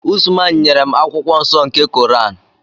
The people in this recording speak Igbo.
Usman nyere m akwụkwọ nsọ nke Koran.